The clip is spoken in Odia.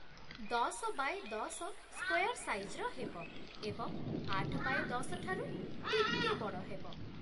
ଦଶ ବାୟେ ଦଶ ସ୍କାୟାର୍ ସାଇଜ୍ର ହେବ ଏବଂ ଆଠ ବାୟେ ଦଶ ଠାରୁ ଟିକେ ବଡ଼ ହେବ ।